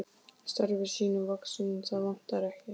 Starfi sínu vaxinn, það vantaði ekki.